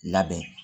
Labɛn